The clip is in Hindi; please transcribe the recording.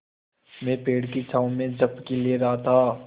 मैं पेड़ की छाँव में झपकी ले रहा था